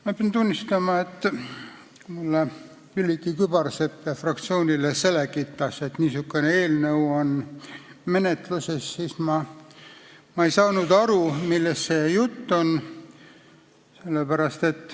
Ma pean tunnistama, et kui Külliki Kübarsepp mulle ja kogu fraktsioonile selgitas, et niisugune eelnõu on menetluses, siis ma ei saanud aru, millest jutt on.